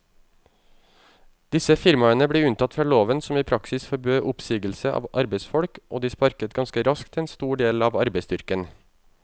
Disse firmaene ble unntatt fra loven som i praksis forbød oppsigelse av arbeidsfolk, og de sparket ganske raskt en stor del av arbeidsstyrken.